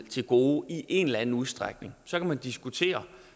til gode i en eller anden udstrækning så kan man diskutere